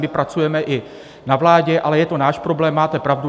My pracujeme i na vládě, ale je to náš problém, máte pravdu.